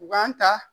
U b'an ta